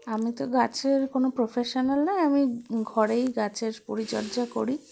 আমিতো গাছের কোনো professional না আমি ঘরেই গাছের পরিচর্যা করি